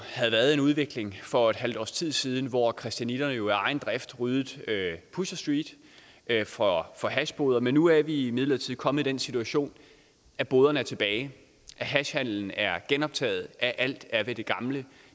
havde været en udvikling for et halvt års tid siden hvor christianitterne af egen drift ryddede pusher street for for hashboder men nu er vi imidlertid kommet i den situation at boderne er tilbage at hashhandelen er genoptaget at alt er ved det gamle